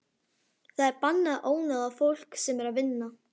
Það er bannað að ónáða fólk sem er að vinna.